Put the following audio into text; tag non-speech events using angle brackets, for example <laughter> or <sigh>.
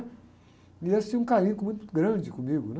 E eles tinham um carinho <unintelligible> muito grande comigo, né?